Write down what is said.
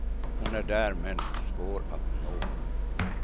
Hon är där men svår att nå.